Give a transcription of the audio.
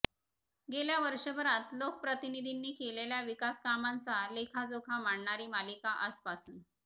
गेल्या वर्षभरात लोकप्रतिनींनी केलेल्या विकासकामांचा लेखाजोखा मांडणारी मालिका आजपासून